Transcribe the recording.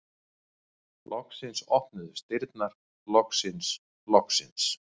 Loksins opnuðust dyrnar, loksins, loksins!